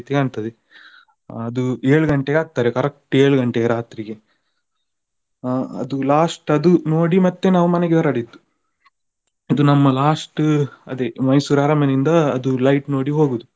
ಕಾಣ್ತದೆ ಅದು ಏಳು ಗಂಟೆಗೆ ಹಾಕ್ತಾರೆ correct ಏಳು ಗಂಟೆಗೆ ರಾತ್ರಿಗೆ. ಆ ಅದು last ಅದು ನೋಡಿ ಮತ್ತೆ ನಾವು ಮನೆಗೆ ಹೊರಡಿದ್ದು. ಅದು ನಮ್ಮ last ಅದೇ Mysore ಅರಮನೆಯಿಂದ ಅದು light ನೋಡಿ ಹೋಗುದು.